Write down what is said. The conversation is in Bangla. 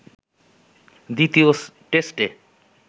দ্বিতীয় টেস্টে